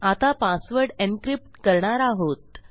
आता पासवर्ड encryptकरणार आहोत